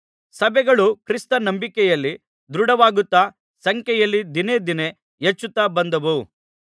ಸಭೆಗಳು ಕ್ರಿಸ್ತ ನಂಬಿಕೆಯಲ್ಲಿ ದೃಢವಾಗುತ್ತಾ ಸಂಖ್ಯೆಯಲ್ಲಿ ದಿನೇ ದಿನೇ ಹೆಚ್ಚುತ್ತಾ ಬಂದವು